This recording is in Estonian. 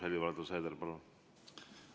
Helir-Valdor Seeder, palun!